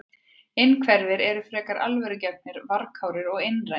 Innhverfir eru frekar alvörugefnir, varkárir og einrænir.